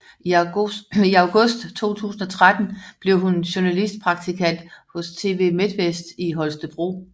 I august 2013 blev hun journalistpraktikant hos TV Midtvest i Holstebro